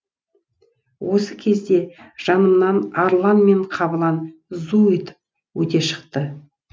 осы кезде жанымнан арлан мен қабылан зу етіп өте шықты